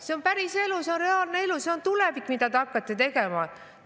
See on päriselu, see on reaalne elu, see on tulevik, mida te hakkate.